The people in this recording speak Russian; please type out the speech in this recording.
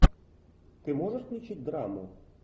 ты можешь включить драму